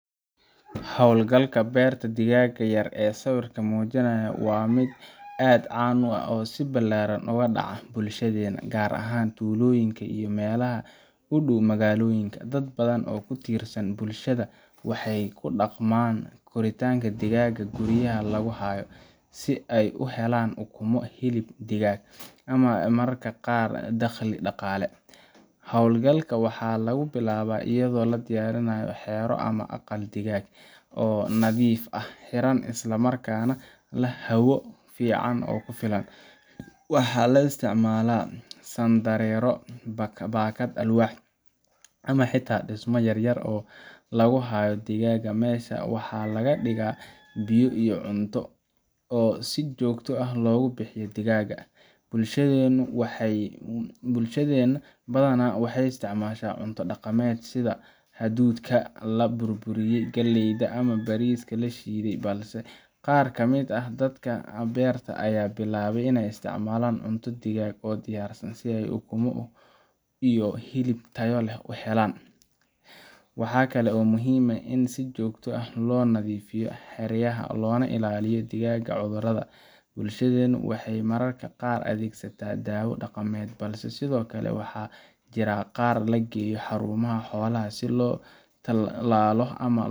Hawlgalka beerta digaagga yar ee sawirku muujinayo waa mid aad u caan ah oo si ballaaran uga dhacda bulshadeenna, gaar ahaan tuulooyinka iyo meelaha u dhow magaalooyinka. Dad badan oo ku tirsan bulshada waxay ku dhaqmaan korinta digaagga guryaha lagu hayo, si ay u helaan ukumo, hilib digaag ah, iyo mararka qaar dakhli dhaqaale. Hawlgalka waxaa lagu bilaabaa iyadoo la diyaariyo xero ama aqal digaag oo nadiif ah, xiran, isla markaana leh hawo fiican oo ku filan. Waxaa la isticmaalaa sandareero, baakad alwaax ah, ama xitaa dhismo yaryar oo lagu hayo digaagga. Meeshaas waxaa la dhigaa biyo iyo cunto, oo si joogto ah loogu bixiyaa digaagga. Bulshadeennu badanaa waxay isticmaashaa cunto dhaqameed sida hadhuudhka la burburiyey, galleyda, ama bariiska la shiiday, balse qaar ka mid ah dadka wax beerta ayaa bilaabay inay isticmaalaan cunto digaag oo diyaarsan si ay ukumo iyo hilib tayo leh u helaan. Waxaa kale oo muhiim ah in si joogto ah loo nadiifiyo xeryaha, loona ilaaliyo digaagga cudurrada. Bulshadeennu waxay mararka qaar adeegsataa dawo dhaqameed, balse sidoo kale waxaa jira qaar la geeyo xarumaha xoolaha si loo tallaalo ama.